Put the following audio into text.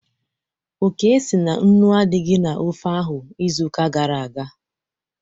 Oke sị na nnu adịghị na ofe ahụ izuụka gara aga